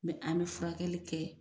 Mɛ an bɛ furakɛli kɛ